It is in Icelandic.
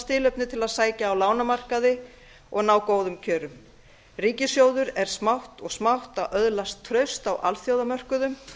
tilefni til að sækja á lánamarkaði og ná góðum kjörum ríkissjóður er smátt og smátt að öðlast traust á alþjóðamörkuðum